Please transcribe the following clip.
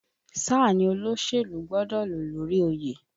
Sáà ni olóṣèlú gbọ́dọ̀ ló lórí oyè!